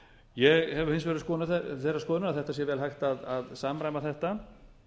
ég er hins vegar þeirrar skoðunar að það sé vel hægt að samræma þetta